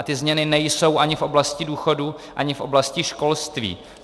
A ty změny nejsou ani v oblasti důchodů, ani v oblasti školství.